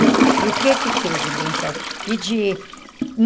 E o que que teve, benzão? E de